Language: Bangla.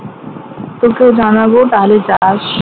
তোকেও জানাবো তাহলে যাস